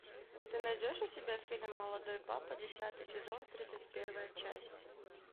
ты найдешь у себя фильм молодой папа десятый сезон тридцать первая часть